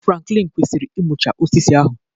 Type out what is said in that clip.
Franklin kwesịrị ịmụchaa osisi ahụ